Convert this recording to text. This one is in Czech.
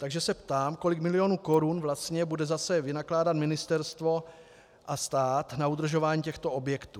Takže se ptám, kolik milionů korun vlastně bude zase vynakládat ministerstvo a stát na udržování těchto objektů.